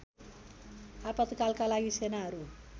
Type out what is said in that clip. आपातकालका लागि सेनाहरू